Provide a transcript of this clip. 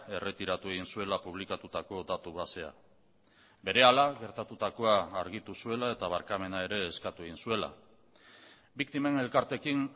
erretiratu egin zuela publikatutako datu basea berehala gertatutakoa argitu zuela eta barkamena ere eskatu egin zuela biktimen elkarteekin